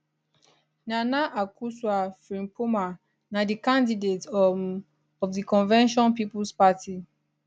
nana akosua frimpomaa na di candidate um of di convention peoples party